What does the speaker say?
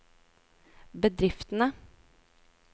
bedriftene